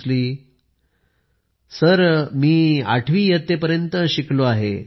पोन मरियप्पन यांच्या उत्तराचा हिदी अनुवाद मी आठवी इयत्तेपर्यंत शिकलो आहे